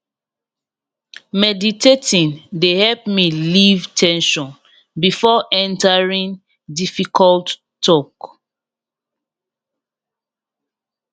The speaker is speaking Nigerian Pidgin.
meditating de help me leave ten sion before entering difficult talk